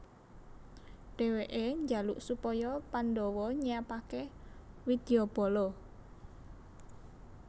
Dheweke njaluk supaya Pandhawa nyiapake widyabala